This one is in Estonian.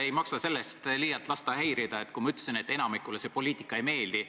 Ei maksa ennast sellest liialt häirida lasta, kui ma ütlesin, et enamikule see poliitika ei meeldi.